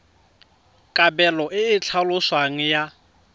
kabelo e e tlhaloswang ya